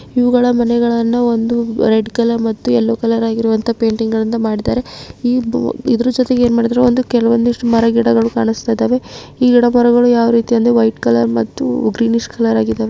ಇವುಗಳ ಮನೆಗಳನ್ನು ಒಂದು ರೆಡ್ ಕಲರ್ ಮತ್ತು ಯಲ್ಲೋ ಕಲರ್ ಆಗಿರೋವಂತಹ ಪೇಂಟಿಂಗ್ ಇಂದ ಮಾಡಿದ್ದಾರೆ. ಇ-ಇದರ ಜೊತೆಗೆ ಏನ್ಮಾಡಿದಾರೆ ಒಂದು ಕೆಲ ಒಂದಿಷ್ಟು ಮರಗಿಡಗಳನ್ನು ಕಾಣಸ್ತಾ ಇದಾವೆ. ಈ ಮರಗಿಡಗಳು ವೈಟ್ ಕಲರ್ ಮತ್ತು ಗ್ರೀನಿಷ್ ಕಲರ್ ಆಗಿದಾವೆ.